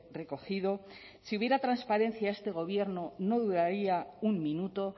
recogido si hubiera transparencia este gobierno no dudaría un minuto